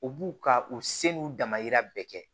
U b'u ka u se n'u damayira bɛɛ kɛ